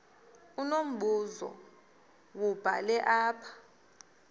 unombuzo wubhale apha